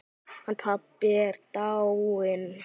Hann pabbi er dáinn.